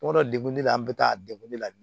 Tuma dɔ degun de la an bɛ taa degun de la